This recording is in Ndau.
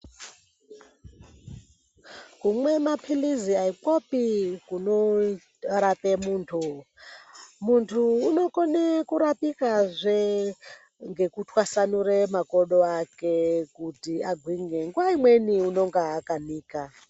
Kumwe maphilizi haikwopi kunorape muntu. Muntu unokone kurapikazve ngekutwasanure makodo ake kuti agwinye. Nguwa imweni unonga akanika.